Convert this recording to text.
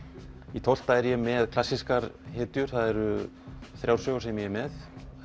í tólfta er ég með klassískar hetjur það eru þrjár sögur sem ég er með